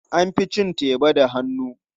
An fi cin teba da hannu.